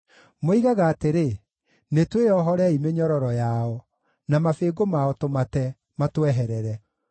Moigaga atĩrĩ, “Nĩtwĩohorei mĩnyororo yao, na mabĩngũ mao tũmate matweherere.”